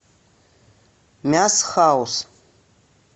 мяс хаус